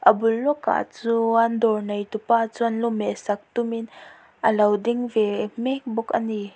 a bul lawkah chuan dawr neitupa chuan lu mehsak tumin alo ding ve mek bawk a ni.